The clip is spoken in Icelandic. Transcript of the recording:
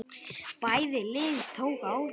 Bæði lið tóku á því.